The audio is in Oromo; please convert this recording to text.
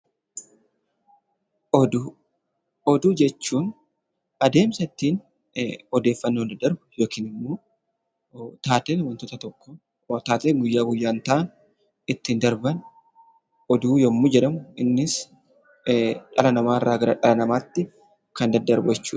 Oduu jechuun adeemsa ittiin odeeffannoon daddarbu yookiin immoo taateen waantota tokkoo, taateen guyyaa guyyaan ta'an ittiin darban oduu yommuu jedhamu, innis dhala namaarraa gara dhala namaatti kan daddarbu jechuudha.